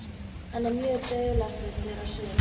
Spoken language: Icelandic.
Hann er mjög dularfullur á svip.